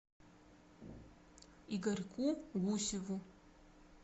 игорьку гусеву